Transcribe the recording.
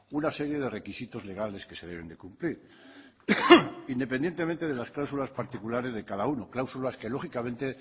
una serie de requisitos legales que se deben de cumplir independientemente de las cláusulas particulares de cada uno cláusulas que lógicamente